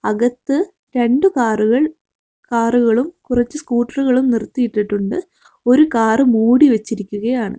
അകത്തു രണ്ട് കാറുകൾ കാറുകളും കുറച്ചു സ്കൂട്ടറുകളും നിർത്തിയിട്ടിട്ടുണ്ട് ഒരു കാറ് മൂടി വെച്ചിരിക്കുകയാണ്.